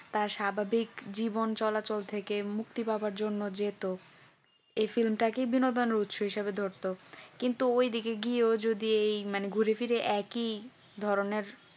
তার স্বাভাবিক জীবন চলাচল থেকে মুক্তি পাবার জন্য যে যেত এই film তাকে বিনোদয়ের হিসেবে ধরতো কিন্তু ওই দিকে গিয়েও যদি এই মানে ঘুরেফিরে তা কি ধরনের